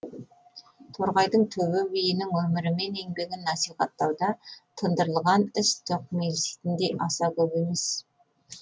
торғайдың төбе биінің өмірі мен еңбегін насихаттауда тыңдырылған іс тоқмейілситіндей аса көп емес